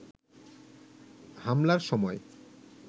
হামলার সময়